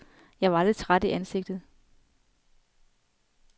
Jeg var lidt træt i ansigtet.